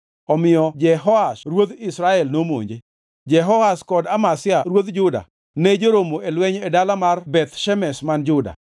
Omiyo Jehoash ruodh Israel nomonje. Jehoash kod Amazia ruodh Juda ne joromo e lweny e dala mar Beth Shemesh man Juda.